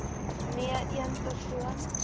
nee een persoon